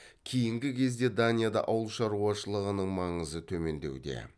кейінгі кезде данияда ауылшаруашылығының маңызы төмендеуде